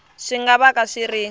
swi nga vaka swi ri